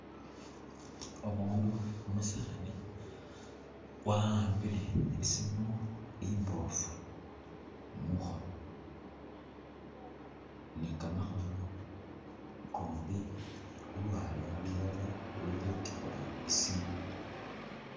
Umundu umusaani waambile isimu imbofu mukhono ni kamakhono kombi lulwala lulala luli khutikhula isimu.